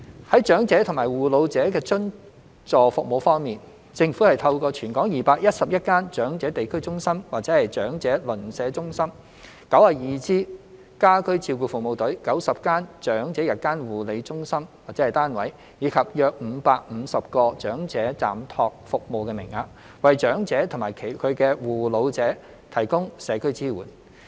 在長者及護老者的津助服務方面，政府透過全港211間長者地區中心/長者鄰舍中心、92支家居照顧服務隊、90間長者日間護理中心/單位，以及約550個長者暫託服務名額，為長者及其護老者提供社區支援。